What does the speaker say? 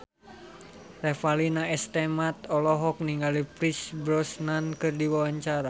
Revalina S. Temat olohok ningali Pierce Brosnan keur diwawancara